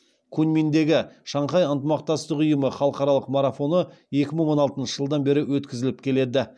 куньминдегі шанхай ынтымақтастық ұйымы халықаралық марафоны екі мың он алтыншы жылдан бері өткізіліп келеді